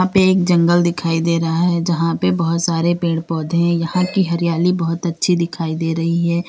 पे एक जंगल दिखाई दे रहा है जहां पे बहुत सारे पेड़ पौधे यहां की हरियाली बहुत अच्छी दिखाई दे रहीं है।